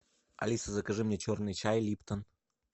алиса закажи мне черный чай липтон